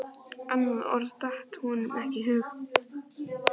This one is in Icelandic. Annað orð datt honum ekki í hug.